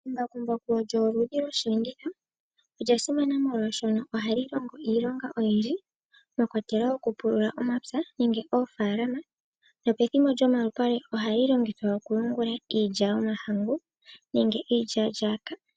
Embakumbaku lyo oludhi losheenditho, olya simana moolwashoka oha li longo iilonga oyindji mwakwatelwa okupulula omapya nenge oofaalama. Nopethimbo lyomalupale oha li longithwa okuhungula iilya yomahangu nenge iilyalyaka.